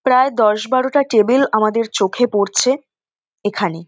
প্রায় দশ বারোটা টেবিল আমাদের চোখে পড়ছে এখানে।